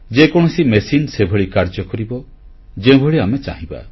ଯେକୌଣସି ମେସିନ ସେଭଳି କାର୍ଯ୍ୟ କରିବ ଯେଉଁଭଳି ଆମେ ଚାହିଁବା